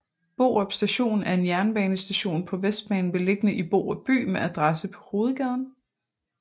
Borup Station er en jernbanestation på Vestbanen beliggende i Borup by med adresse på Hovedgaden